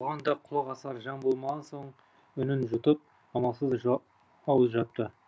оған да құлақ асар жан болмаған соң үнін жұтып амалсыз ауыз жапты